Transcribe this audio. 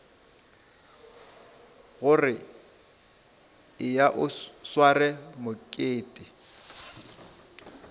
gore eya o sware mokete